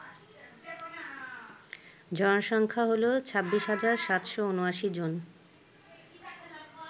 জনসংখ্যা হল ২৬৭৭৯ জন